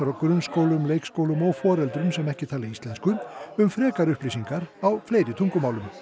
grunnskólum leikskólum og foreldrum sem ekki tala íslensku um frekari upplýsingar á fleiri tungumálum